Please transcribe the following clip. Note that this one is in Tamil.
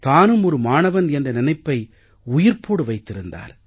தானும் ஒரு மாணவன் என்ற நினைப்பை உயிர்ப்போடு வைத்திருந்தார்